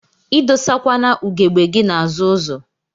Idosakwana ugegbe gi n'azụ ụzọ.